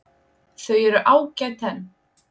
Þau eru ágæt en.